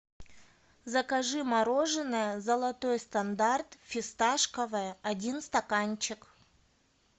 закажи мороженое золотой стандарт фисташковое один стаканчик